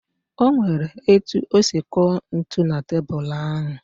O nwere etu o si kụọ ntụ na tebulu ahụ